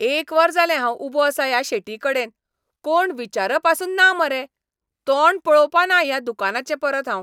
एक वर जालें हांव उबों आसां ह्या शेटीकडेन. कोण विचारपासून ना मरे. तोंड पळोवपा ना ह्या दुकानाचें परत हांव.